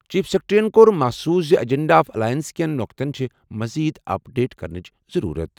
Chief سیکرٹریَن کوٚر محسوٗس زِ ایجنڈا آف الائنس کٮ۪ن نقطَن چھِ مٔزیٖد اپ ڈیٹ کرنٕچ ضروٗرت۔